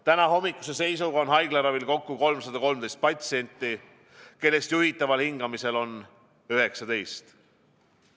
Tänahommikuse seisuga on haiglaravil kokku 313 patsienti, kellest juhitaval hingamisel on 19.